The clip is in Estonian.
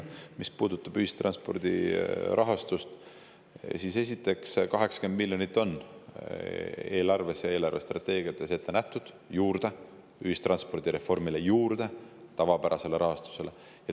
Mis puudutab ühistranspordi rahastust, siis esiteks, 80 miljonit on eelarves ja eelarvestrateegiates ette nähtud juurde ühistranspordireformile, juurde sellele tavapärasele rahastusele.